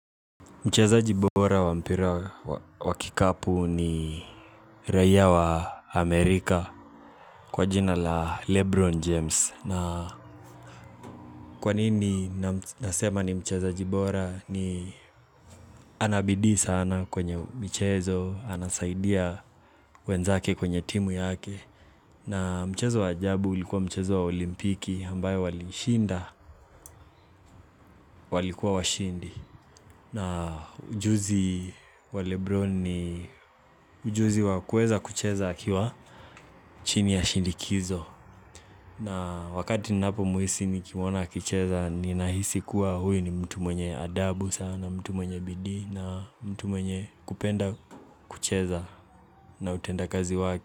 Mchezaji bora wa mpira wa kikapu ni raiya wa Amerika kwa jina la Lebron James na. Kwanini nasema ni mchezaji bora? Ni ana bidii sana kwenye michezo, anasaidia wenzake kwenye timu yake. Na mchezo wa ajabu ulikuwa mchezo wa olimpiki ambayo waliishinda walikuwa washindi. Na ujuzi wa Lebron ni ujuzi wa kueza kucheza akiwa chini ya shindikizo. Na wakati ninapomhisi nikimwona akicheza ninahisi kuwa huyu ni mtu mwenye adabu sana, mtu mwenye bidii na mtu mwenye kupenda kucheza na utendakazi wake.